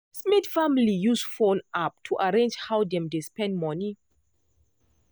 smith family use phone app to arrange how dem dey spend money.